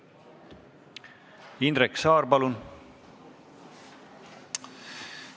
Indrek Saar, palun!